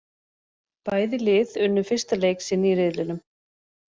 Bæði lið unnu fyrsta leik sinn í riðlinum.